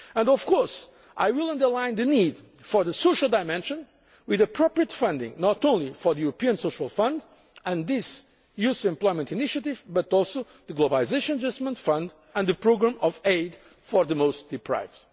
All. Of course, I will also underline the need for the social dimension, with appropriate funding not only for the European Social Fund and the youth employment initiative but also for the Globalisation Adjustment Fund and the programme of aid for the most deprived.